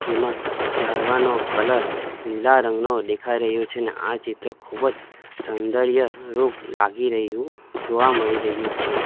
જેમાં ઝાડવાનો કલર લીલા રંગનો દેખાય રહ્યો છે અને આ ચિત્ર ખૂબ જ સૌંદર્ય રૂપ લાગી રહયું જોવા મળી રહયું છે.